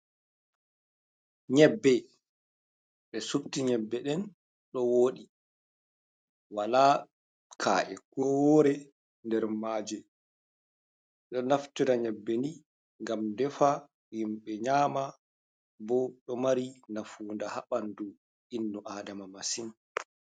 Nyeɓɓe ɓe suɓti nyeɓɓe ɗen ɗo woɗi. Wala ka’e ko wore nɗer maje. Ɗo naftura nyeɓɓe ni ngam ɗefa, himbe nyama ɓo ɗo mari nafunɗa ha ɓanɗu innu aɗama masin.